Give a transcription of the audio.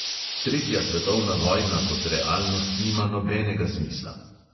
Tretja svetovna vojna kot realnost nima nobenega smisla.